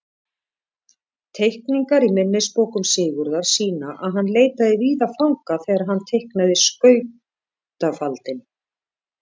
Teikningar í minnisbókum Sigurðar sýna að hann leitaði víða fanga þegar hann teiknaði skautafaldinn.